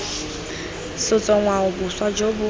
setso ngwao boswa jo bo